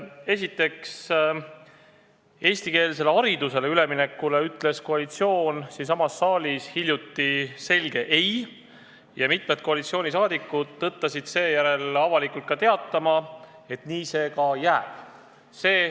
Esiteks, eestikeelsele haridusele üleminekule ütles koalitsioon siinsamas saalis hiljuti selge "ei" ja mitmed koalitsioonisaadikud tõttasid seejärel avalikult teatama, et nii see ka jääb.